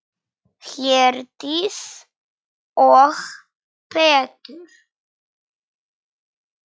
Herdís og Pétur.